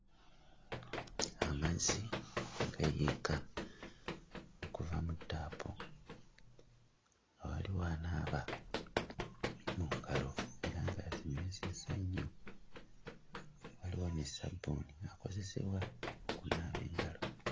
Amazzi gayiika okuva mu ttaapu nga waliwo anaaba mu ngalo era ng'azinaazizza nnyo; waliwo ne ssabbuuni akozesebwa okunaaba mu ngalo.